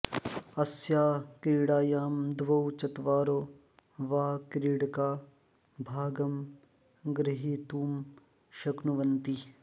अस्यां क्रीडायां द्वौ चत्वारो वा क्रीडका भागं ग्रुहीतुं शक्नुवन्ति